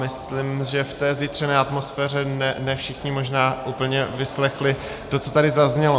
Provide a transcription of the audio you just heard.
Myslím, že v té zjitřené atmosféře ne všichni možná úplně vyslechli to, co tady zaznělo.